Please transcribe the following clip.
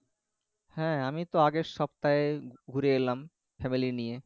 হ্যাঁ আমি তো আগের সপ্তাহে ঘুরে এলাম family নিয়ে